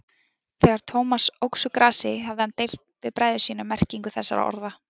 Þegar Thomas óx úr grasi hafði hann deilt við bræður sína um merkingu þessara orða.